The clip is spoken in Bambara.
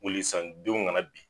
Weli san denw kana bin.